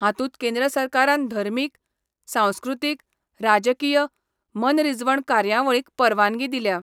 हातुंत केंद्र सरकारान धर्मिक, सांस्कृतिक, राजकीय, मनरीजवण कार्यावळींक परवानगी दिल्या.